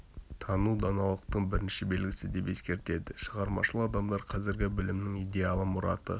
тану даналықтың бірінші белгісі деп ескертеді шығармашыл адамдар қазіргі білімнің идеалы мұраты